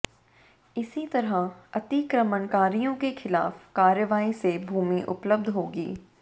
इसी तरह अतिक्रमणकारियों के खिलाफ कार्रवाई से भूमि उपलब्ध होगी